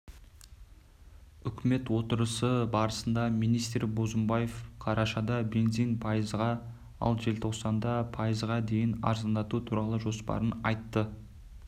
үкімет отырысы барысында министр бозымбаев қарашада бензин пайызға ал желтоқсанда пайызға дейін арзандату туралы жоспарын айтты